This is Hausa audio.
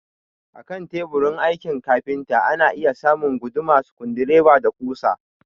Akan teburin aikin kafinta ana iya samun guduma, sukudireba, da ƙusa